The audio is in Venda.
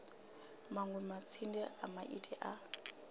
manwe matsinde a maiti a